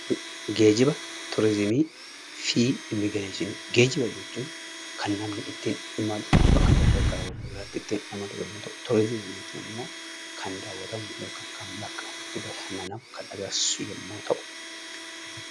Geejjiba, turizimii fi immigireeshinii. Geejjiba jechuun kan namni ittiin imalu bakka tokkoo gara bakka biraattii ittiin imalu yemmuu ta'u turizimii jechuun immoo kan daawwatamu yokan kan bakka itti bashannanan kan agarsiisu yemmuu ta'u...